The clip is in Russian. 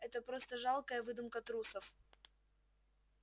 это просто жалкая выдумка трусов